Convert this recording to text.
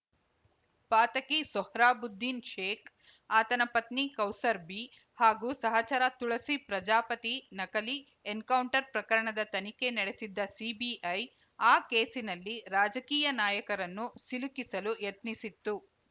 ಪಾತಕಿ ಸೊಹ್ರಾಬುದ್ದೀನ್‌ ಶೇಖ್‌ ಆತನ ಪತ್ನಿ ಕೌಸರ್‌ ಬೀ ಹಾಗೂ ಸಹಚರ ತುಳಸಿ ಪ್ರಜಾಪತಿ ನಕಲಿ ಎನ್‌ಕೌಂಟರ್‌ ಪ್ರಕರಣದ ತನಿಖೆ ನಡೆಸಿದ್ದ ಸಿಬಿಐ ಆ ಕೇಸಿನಲ್ಲಿ ರಾಜಕೀಯ ನಾಯಕರನ್ನು ಸಿಲುಕಿಸಲು ಯತ್ನಿಸಿತ್ತು